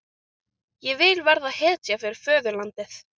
Ég vil verða hetja fyrir föðurlandið.